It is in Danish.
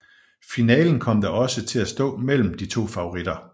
Finalen kom da også til at stå imellem de to favoritter